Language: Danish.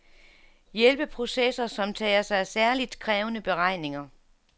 Hjælpeprocessor, som tager sig af særligt krævende beregninger.